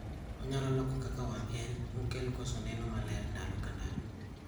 Onyalo loko kaka wang' en mokel koso neno maler ndalo ka ndalo